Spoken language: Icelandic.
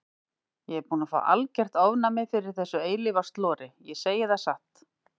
Ég er búin að fá algert ofnæmi fyrir þessu eilífa slori, ég segi það satt.